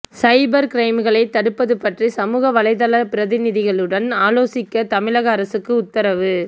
சைபர் கிரைம்களை தடுப்பது பற்றி சமூக வலைதள பிரதிநிதிகளுடன் ஆலோசிக்க தமிழக அரசுக்கு உத்தரவு